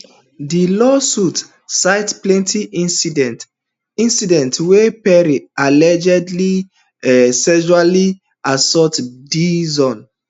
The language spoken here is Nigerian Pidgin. di lawsuit cite plenty incidents incidents wia perry allegedly um sexually assault dixon